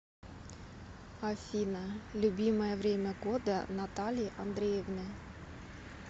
афина любимое время года натальи андреевны